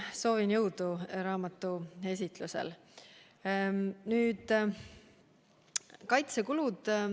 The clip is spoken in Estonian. Soovin jõudu raamatuesitlusel!